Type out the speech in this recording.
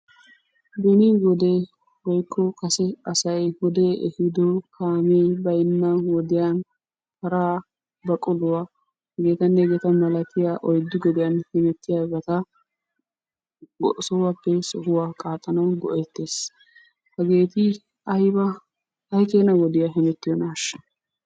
Beni wode woykko kase asay wodee ehiido kaamee baynna wodiyan paraa, baquluwa hegeetanne hegeeta malatiya oyddu gediyan hemettiyabata sohuwappe sohuwa qaaxxanawu go'ettiyogee beettees. Hageeti ayba ay keena wodiya hemettiyonaashsha?